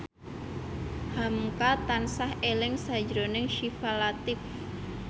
hamka tansah eling sakjroning Syifa Latief